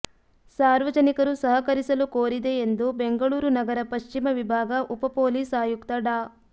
ಸಾರ್ವಜನಿಕರು ಸಹಕರಿಸಲು ಕೋರಿದೆ ಎಂದು ಬೆಂಗಳೂರು ನಗರ ಪಶ್ಚಿಮ ವಿಭಾಗ ಉಪಪೊಲೀಸ್ ಆಯುಕ್ತ ಡಾ